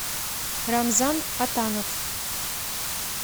рамзан атанов